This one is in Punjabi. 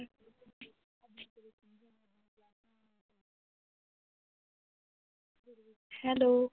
ਹੈਲੋ